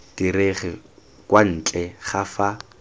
direge kwa ntle ga fa